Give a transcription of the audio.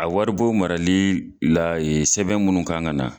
A wari bon marali la ye sɛbɛn munnu kan ka na.